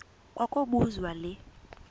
kwa kobuzwa le